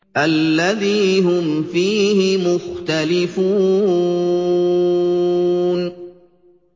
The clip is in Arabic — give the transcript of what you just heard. الَّذِي هُمْ فِيهِ مُخْتَلِفُونَ